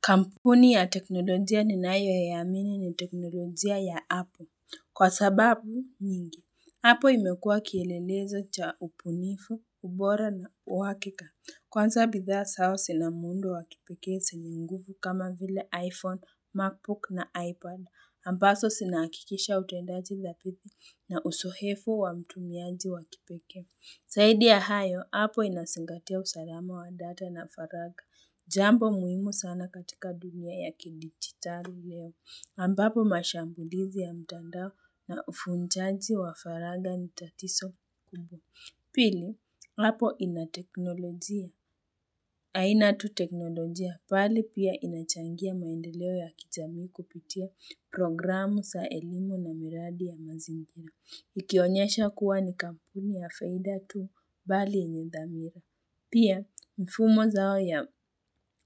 Kampuni ya teknolojia ninayoiamini ni teknolojia ya apple. Kwa sababu nyingi, hapo imekua kielelezo cha ubunifu, ubora na uwakika. Kwanza bidhaa zao zinamuundo wa kipekee zina nguvu kama vile iPhone, MacBook na iPad. Ambazo sinakikisha utendaji za pithi na uzoefu wa mtumiaji wa kipeke. Zaidi ya hayo, apple inazingatia usalama wa data na faragha. Jambo muhimu sana katika dunia ya kidigitali leo. Ambapo mashambulizi ya mtandao na ufunjaji wa faragha ni tatizo kubwa. Pili, apple inateknolojia. Aina tu teknolojia bali pia inachangia maendeleo ya kijamii kupitia programu za elimu na miradi ya mazingira. Ikionyesha kuwa ni kampuni ya faida tu bali enye dhamira. Pia, mfumo zao ya